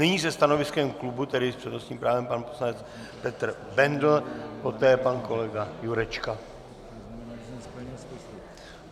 Nyní se stanoviskem klubu, tedy s přednostním právem, pan poslanec Petr Bendl, poté pan kolega Jurečka.